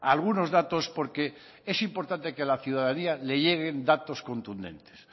algunos datos porque es importante que a la ciudadanía le lleguen datos contundentes